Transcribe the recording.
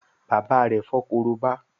bàbá rẹ fo Korobá